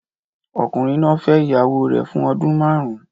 Ọkùnrin náà fẹ́ ìyàwó rẹ̀ fún ọdún márùn-ún